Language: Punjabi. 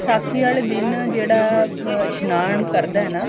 ਵਿਸਾਖੀ ਵਾਲੇ ਦਿਨ ਜਿਹੜਾ ਇਸ਼ਨਾਨ ਕਰਦਾ ਨਾ